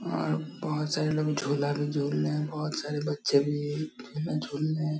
और बहुत सारे लोग झुला भी झूल रहे हैं और बहुत सारे बच्चे भी झुला झूल रहे --